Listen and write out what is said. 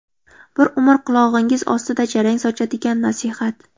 Bir umr qulog‘ingiz ostida jarang sochadigan nasihat?